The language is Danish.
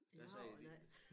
Der siger de ikke